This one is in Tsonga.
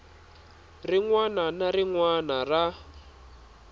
wana na rin wana ra